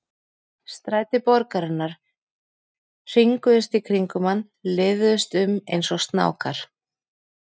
Stræti borgarinnar hringuðust í kringum hann, liðuðust um eins og snákar.